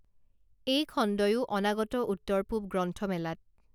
এই খণ্ডয়ো অনাগত উত্তৰ পূৱ গ্ৰন্থমেলাত